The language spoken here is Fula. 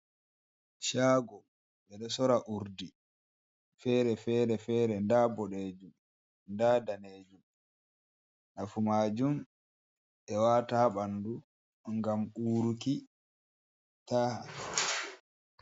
Shago ɓeɗo sora urdi fer-fere, fere nda boɗejum, nda danejum, nafu majum ɓe wata ɓandu ngam uruki taha.